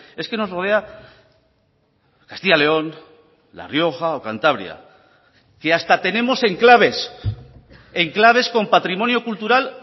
es que nos rodea castilla león la rioja o cantabria que hasta tenemos enclaves enclaves con patrimonio cultural